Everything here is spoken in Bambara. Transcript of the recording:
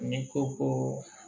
N'i ko ko